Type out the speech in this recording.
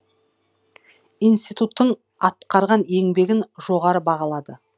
институттың атқарған еңбегін жоғары бағалады